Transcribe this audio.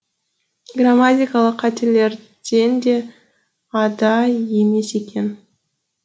грамматикалық қателерден де ада емес екен